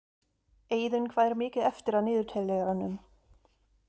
Eiðunn, hvað er mikið eftir af niðurteljaranum?